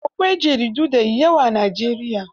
Akwai jaridu da yawa a Najeriya.